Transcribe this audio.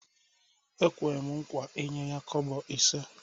Ekwem nkwa inye ya kobo ise